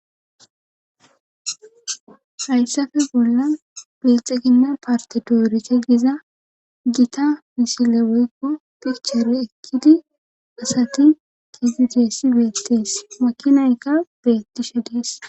hayssafe bolla bilxeginna partedoorike giza gita misile woykko pichere ekkidi asati kidideesi beettees makinayka beettishe dees